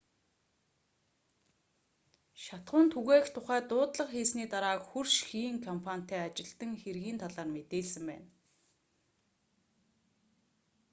шатахуун түгээх тухай дуудлага хийсний дараа хөрш хийн компанитай ажилтан хэргийн талаар мэдээлсэн байна